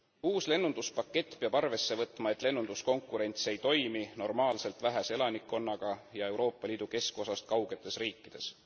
Uus lennunduspakett peab arvesse võtma, et lennunduskonkurents ei toimi normaalselt vähese elanikkonnaga ja Euroopa Liidu keskosast kaugetes riikides.